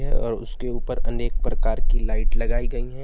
और उसके ऊपर अनेक प्रकार की लाइट लगाई गई हैं।